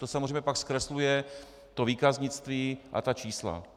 To samozřejmě pak zkresluje to výkaznictví a ta čísla.